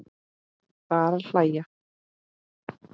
Bara hægar.